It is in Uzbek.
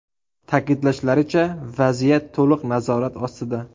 Ta’kidlashlaricha, vaziyat to‘liq nazorat ostida.